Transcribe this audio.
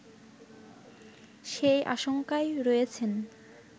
সেই আশংকায় রয়েছেন